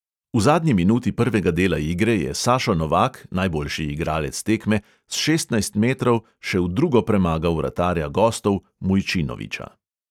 V zadnji minuti prvega dela igre je sašo novak, najboljši igralec tekme, s šestnajst metrov še v drugo premagal vratarja gostov mujčinovića.